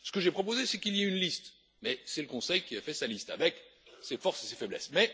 Ce que j'ai proposé, c'est qu'il y ait une liste, mais c'est le Conseil qui a fait sa liste, avec ses forces et ses faiblesses.